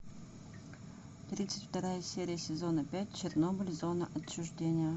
тридцать вторая серия сезона пять чернобыль зона отчуждения